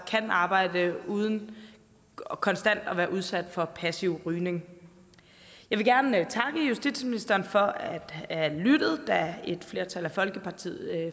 kan arbejde uden konstant at være udsat for passiv rygning jeg vil gerne takke justitsministeren for at han lyttede da et flertal af